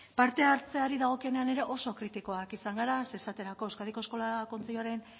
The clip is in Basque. parte hartzeari dagokienean ere oso kritikoak izan gara zeren esaterako euskadiko eskola kontseiluaren